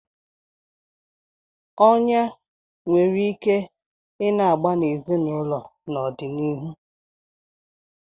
Ọnyá nwere ike na-agba n'ezinụlọ n'ọdịnihu.